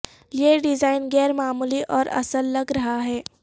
یہ ڈیزائن غیر معمولی اور اصل لگ رہا ہے